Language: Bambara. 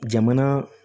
Jamana